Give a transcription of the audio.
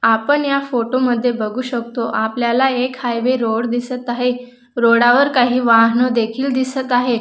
आपण या फोटो मध्ये बघू शकतो आपल्याला एक हायवे रोड दिसत आहे रोडा वर काही वाहन देखील दिसत आहे.